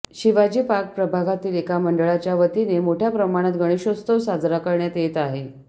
Shivaji Park प्रभागातील एका मंंडळा यांच्या वतीने मोठ्या प्रमाणात गणेशोत्सव साजरा करण्यात येत आहे